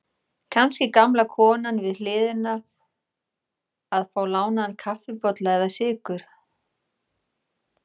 Kannski gamla konan við hliðina að fá lánaðan kaffibolla eða sykur.